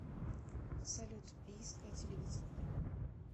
салют бийское телевидение